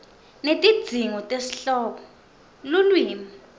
netidzingo tesihloko lulwimi